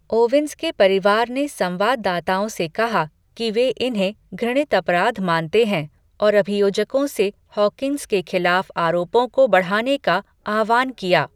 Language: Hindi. ओवेन्स के परिवार ने संवाददाताओं से कहा कि वे इन्हें घृणित अपराध मानते हैं और अभियोजकों से हॉकिन्स के खिलाफ आरोपों को बढ़ाने का आह्वान किया।